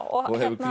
og hefur